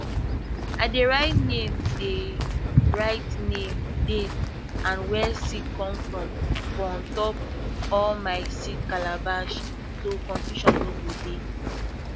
i dey write name dey write name date and where seed come from for untop all my seed calabash so confusion no go dey